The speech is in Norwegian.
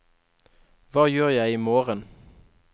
hva gjør jeg imorgen